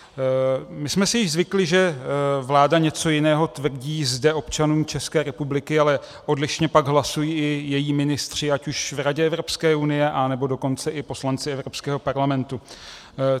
My jsme si již zvykli, že vláda něco jiného tvrdí zde občanům České republiky, ale odlišně pak hlasují i její ministři, ať už v Radě Evropské unie, anebo dokonce i poslanci Evropského parlamentu.